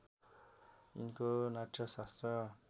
यिनको नाट्यशास्त्र